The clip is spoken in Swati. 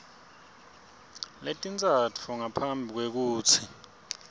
letintsatfu ngaphambi kwekutsi